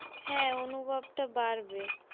হ্যাঁ অনুভবটা বাড়বে।